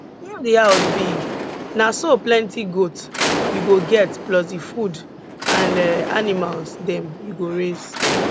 if di house big na so plenty goat you go get plus di food and um animals dem you go raise